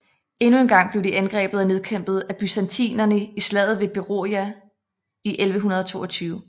Endnu en gang blev de angrebet og nedkæmpet af byzantinerne i slaget ved Beroia i 1122